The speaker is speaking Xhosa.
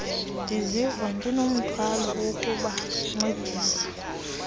ndiziva ndinomthwalo wokubancedisa